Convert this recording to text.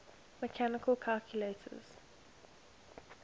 mechanical calculators